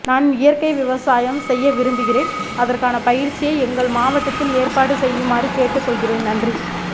நான் இயற்கை விவசாய செய்ய விரும்புகிறேன் அதற்கான பயிற்சியை எங்கள் மாவட்டதில் ஏற்பாடு செய்யமாறு கேட்டுகாெள்கிறேன் நன்றி